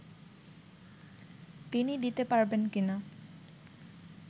তিনি দিতে পারবেন কি না